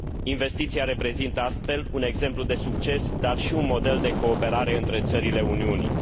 Investiția reprezintă, astfel, un exemplu de succes, dar și un model de cooperare între țările Uniunii.